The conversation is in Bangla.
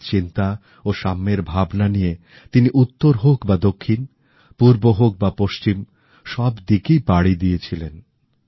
সৎ চিন্তা ও সাম্যের ভাবনা নিয়ে তিনি উত্তর হোক বা দক্ষিণ পূর্ব হোক বা পশ্চিম সব দিকেই পাড়ি দিয়েছিলেন